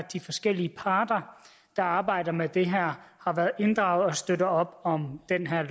de forskellige parter der arbejder med det her har været inddraget og støtter op om det her